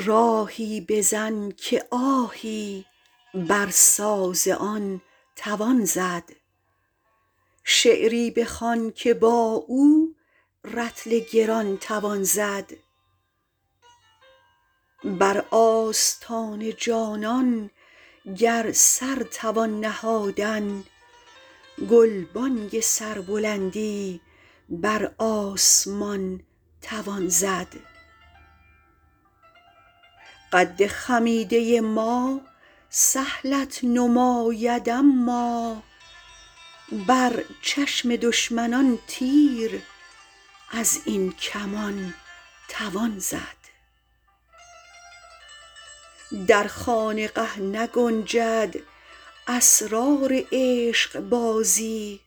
راهی بزن که آهی بر ساز آن توان زد شعری بخوان که با او رطل گران توان زد بر آستان جانان گر سر توان نهادن گلبانگ سربلندی بر آسمان توان زد قد خمیده ما سهلت نماید اما بر چشم دشمنان تیر از این کمان توان زد در خانقه نگنجد اسرار عشقبازی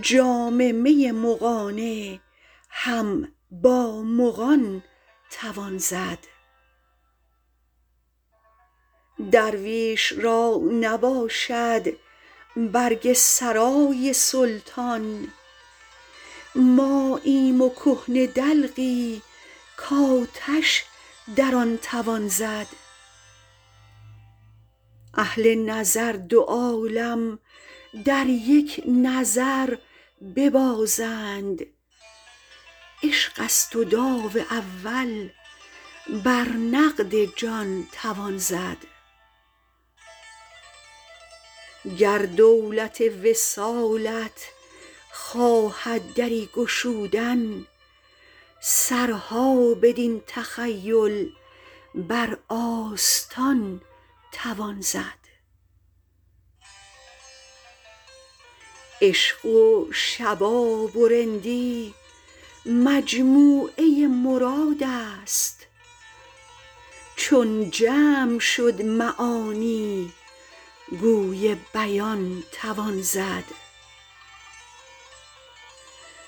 جام می مغانه هم با مغان توان زد درویش را نباشد برگ سرای سلطان ماییم و کهنه دلقی کآتش در آن توان زد اهل نظر دو عالم در یک نظر ببازند عشق است و داو اول بر نقد جان توان زد گر دولت وصالت خواهد دری گشودن سرها بدین تخیل بر آستان توان زد عشق و شباب و رندی مجموعه مراد است چون جمع شد معانی گوی بیان توان زد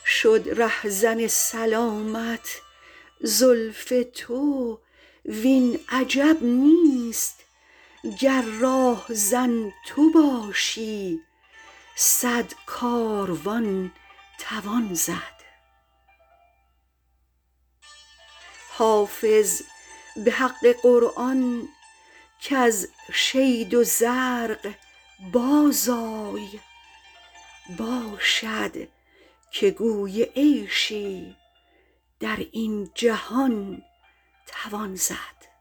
شد رهزن سلامت زلف تو وین عجب نیست گر راهزن تو باشی صد کاروان توان زد حافظ به حق قرآن کز شید و زرق بازآی باشد که گوی عیشی در این جهان توان زد